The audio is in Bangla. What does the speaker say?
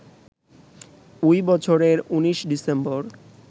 ওই বছরের ১৯ ডিসেম্বর